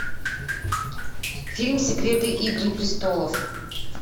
фильм секреты игры престолов